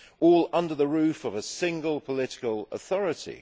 All under the roof of a single political authority.